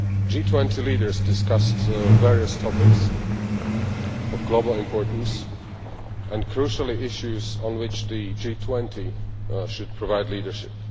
G20 leaders discussed various topics of global importance and, crucially, issues on which the G20 should provide leadership.